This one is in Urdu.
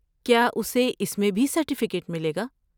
کیا اسے اس میں بھی سرٹیفکیٹ ملے گا؟